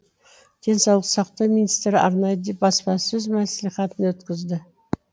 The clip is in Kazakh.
денсаулық сақтау министрі арнайы баспасөз мәслихатын өткізді